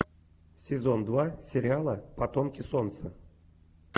сезон два сериала потомки солнца